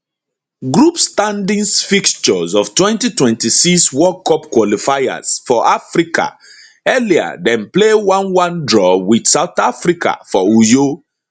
group standings fixtures of 2026 world cup qualifiers for africa earlier dem play eleven draw with south africa for uyo